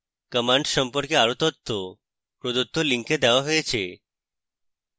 commands সম্পর্কে আরো তথ্য প্রদত্ত link দেওয়া হয়েছে